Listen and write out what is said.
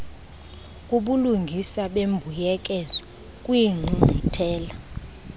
kubulungisa bembuyekezo kwiingqungquthela